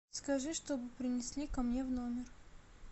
скажи чтобы принесли ко мне в номер